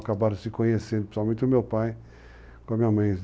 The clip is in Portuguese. Acabaram se conhecendo, principalmente o meu pai, com a minha mãe.